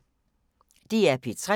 DR P3